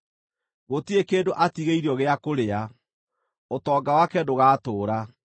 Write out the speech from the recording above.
Gũtirĩ kĩndũ atigĩirio gĩa kũrĩa; ũtonga wake ndũgatũũra.